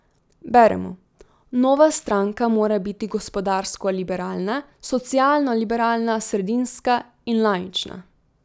Beremo: 'Nova stranka mora biti gospodarsko liberalna, socialno liberalna, sredinska in laična.